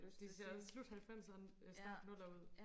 de ser også slut halvfemser start nuller ud